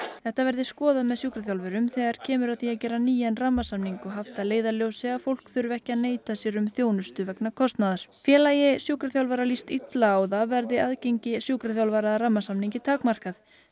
þetta verði skoðað með sjúkraþjálfurum þegar kemur að því að gera nýjan rammasamning og haft að leiðarljósi að fólk þurfi ekki að neita sér um þjónustu vegna kostnaðar félagi sjúkraþjálfara líst illa á það verði aðgengi sjúkraþjálfara að rammasamningi takmarkað